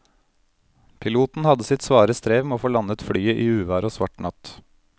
Piloten hadde sitt svare strev med å få landet flyet i uvær og svart natt.